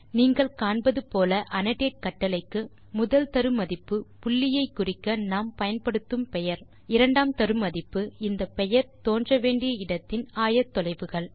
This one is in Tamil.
நீங்கள் காண்பது போல அன்னோடேட் கட்டளைக்கு முதல் தரு மதிப்பு புள்ளியை குறிக்க நாம் பயன்படுத்தும் பெயர் இரண்டாம் தரு மதிப்பு இந்த பெயர் தோன்ற வேண்டிய இடத்தின் ஆயத்தொலைவுகள்